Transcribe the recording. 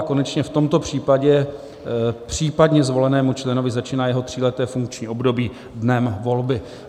A konečně v tomto případě případně zvolenému členovi začíná jeho tříleté funkční období dnem volby.